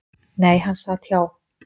Nei, hann sat hjá.